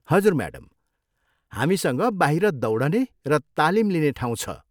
हजुर, म्याडम, हामीसँग बाहिर दौडने र तालिम लिने ठाउँ छ।